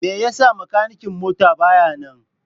Me yasa makanikin mota baya nan?